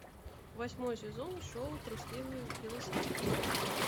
восьмой сезон шоу трусливый велосипедист